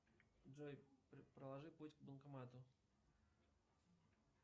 джой проложи путь к банкомату